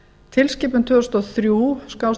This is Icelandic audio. tilskipun tvö þúsund og þrjú